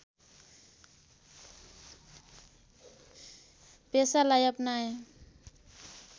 पेसालाई अपनाए